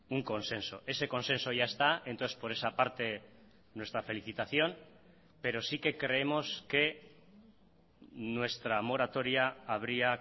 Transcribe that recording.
un consenso ese consenso ya está entonces por esa parte nuestra felicitación pero sí que creemos que nuestra moratoria habría